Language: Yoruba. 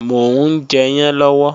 Mò ń jẹyán lọ́wọ́